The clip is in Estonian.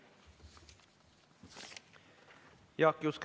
Aitäh!